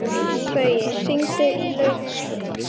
Gaui, hringdu í Laufhildi.